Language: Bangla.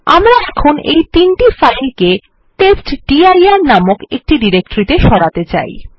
আমরা এখন এই তিনটি ফাইল কে টেস্টডির নামক একটি ডিরেকটরি ত়ে সরাতে চাই